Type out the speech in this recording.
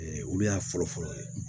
Ee olu y'a fɔlɔ fɔlɔ ye